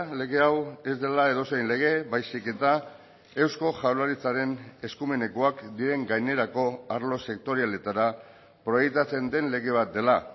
lege hau ez dela edozein lege baizik eta eusko jaurlaritzaren eskumenekoak diren gainerako arlo sektorialetara proiektatzen den lege bat dela